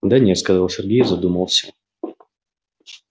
да нет сказал сергей и задумался